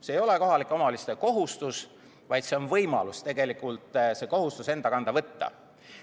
See ei ole kohalike omavalitsuste kohustus, vaid see on võimalus see kohustus enda kanda võtta.